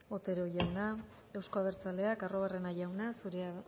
otero jauna euzko abertzaleak arruabarrena jauna